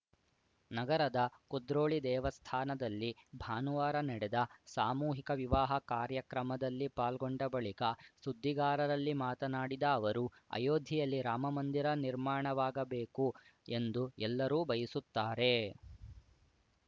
ನಗರದ ಕುದ್ರೋಳಿ ದೇವಸ್ಥಾನದಲ್ಲಿ ಭಾನುವಾರ ನಡೆದ ಸಾಮೂಹಿಕ ವಿವಾಹ ಕಾರ್ಯಕ್ರಮದಲ್ಲಿ ಪಾಲ್ಗೊಂಡ ಬಳಿಕ ಸುದ್ದಿಗಾರರಲ್ಲಿ ಮಾತನಾಡಿದ ಅವರು ಅಯೋಧ್ಯೆಯಲ್ಲಿ ರಾಮ ಮಂದಿರ ನಿರ್ಮಾಣವಾಗಬೇಕು ಎಂದು ಎಲ್ಲರೂ ಬಯಸುತ್ತಾರೆ